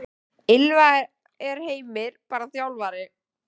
Ylfa: Er Heimir bara þjálfari?